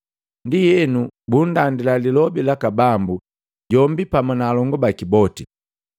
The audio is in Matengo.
Ndienu bundandila Lilobi laka Bambu jombi pamu na alongu baki boti.